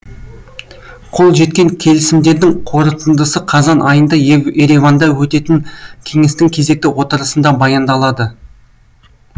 қол жеткен келісімдердің қорытындысы қазан айында ереванда өтетін кеңестің кезекті отырысында баяндалады